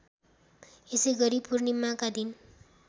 यसैगरी पूर्णिमाका दिन